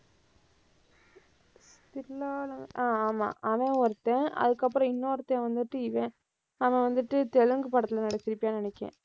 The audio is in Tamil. தில்லால~ ஆமா, அவன் ஒருத்தன். அதுக்கப்புறம் இன்னொருத்தன் வந்துட்டு இவன். அவன் வந்துட்டு தெலுங்கு படத்துல நடிச்சிருப்பான்னு நினைக்கிறேன்.